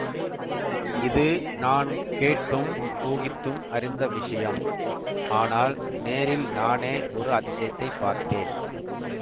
இது நான் கேட்டும் ஊகித்தும் அறிந்த விஷயம் ஆனால் நேரில் நானே ஒரு அதிசயத்தைப் பார்த்தேன்